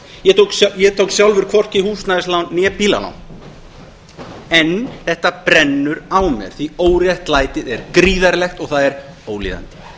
ég tók sjálfur hvorki húsnæðislán né bílalán en þetta brennur á mér því óréttlætið er gríðarlegt og það er ólíðandi og við